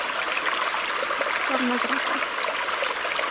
Þú ert aftur farinn að drekka.